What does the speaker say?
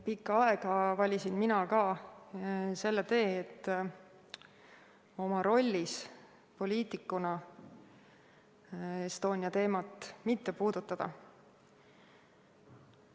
Pikka aega valisin mina ka selle tee, et oma rollis poliitikuna Estonia teemat mitte puudutada.